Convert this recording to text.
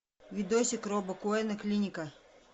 видосик роба коэна клиника